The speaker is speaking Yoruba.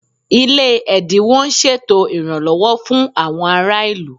Ilé ẹ̀dínwó ń ṣètò ìrànlọ́wọ́ fún àwọn ará ìlú